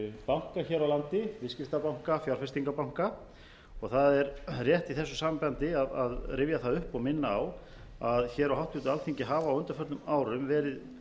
banka hér á landi viðskiptabanka fjárfestingarbanka og það er rétt í þessu sambandi að rifja það upp og minna á að hér á háttvirtu alþingi hafa á undanförnum árum verið